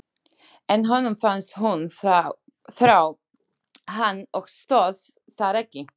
En honum fannst hún þrá hann og stóðst það ekki.